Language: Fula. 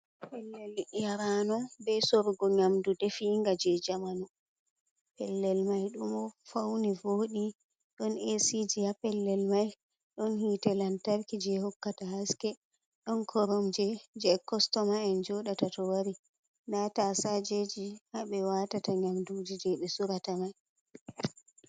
Pellel yarano be sorugo nyamdu de finga je jamanu. Pellel mai ɗo fauni voɗi don esiji haa pellel mai, ɗon hite lantarki je hokkata haske, ɗon koromje je kostoma en joɗata to wari, nda tasajeji haa ɓe watata nyamduji je be sorata mai.